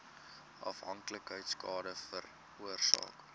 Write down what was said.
afhanklikheid skade veroorsaak